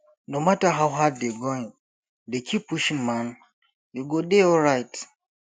no matter how hard dey going dey keep pushing man you go dey alright